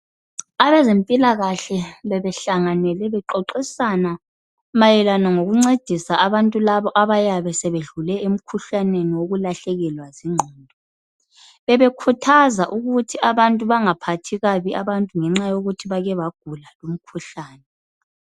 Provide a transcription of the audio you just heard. Abezempilakahle bebehlanganele bexoxisana mayelana ngokuncedisa abantu laba abayabe bedluke emkhuhlaneni wokulahlekelwa zingqondo. Bebekhuthqza ukuthi abantu bangaphathi kabi abantu ngenxa yokuthi bake bagula lumkhuhlane.